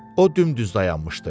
O dümdüz dayanmışdı.